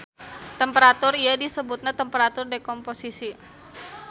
Temperatur ieu disebutna temperatur dekomposisi.